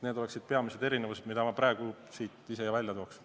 Need on peamised erinevused, mida ma praegu välja tooksin.